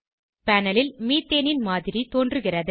panel ல்மீத்தேனின் மாதிரி தோன்றுகிறது